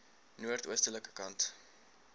noord oostelike kant